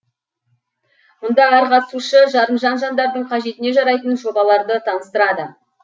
мұнда әр қатысушы жарымжан жандардың қажетіне жарайтын жобаларды таныстырады